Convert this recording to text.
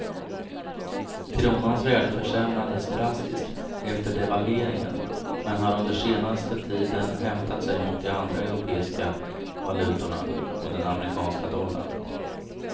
Kronans värde försämrades drastiskt efter devalveringen, men har under senaste tiden hämtat sig mot de andra europeiska valutorna och den amerikanska dollarn.